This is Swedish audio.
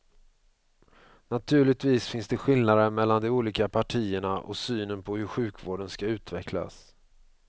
Naturligtvis finns det skillnader mellan de olika partierna och synen på hur sjukvården ska utvecklas.